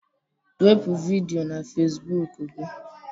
Wepu vidiyo na Facebook gị